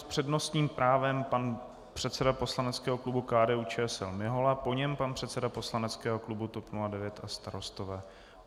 S přednostním právem pan předseda poslaneckého klubu KDU-ČSL Mihola, po něm pan předseda poslaneckého klubu TOP 09 a Starostové.